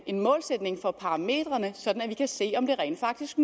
en målsætning for parametrene sådan at vi kan se om det rent faktisk